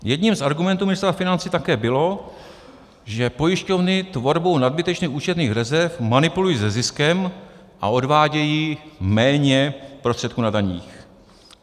Jedním z argumentů Ministerstva financí také bylo, že pojišťovny tvorbou nadbytečných účetních rezerv manipulují se ziskem a odvádějí méně prostředků na daních.